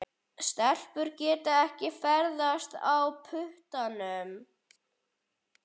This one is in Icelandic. Stelpur geta ekki ferðast á puttanum.